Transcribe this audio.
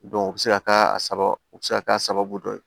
o bɛ se ka k'a sababu o bɛ se ka k'a sababu dɔ ye